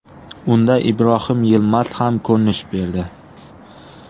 Unda Ibrohim Yilmaz ham ko‘rinish berdi.